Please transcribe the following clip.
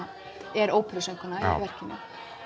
er óperusöngkona í verkinu